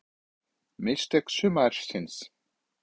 Mistök sumarsins?